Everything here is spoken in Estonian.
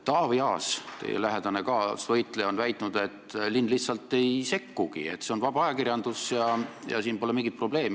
Taavi Aas, teie lähedane kaasvõitleja, on väitnud, et linn lihtsalt ei sekkugi, see on vaba ajakirjandus ja siin pole mingit probleemi.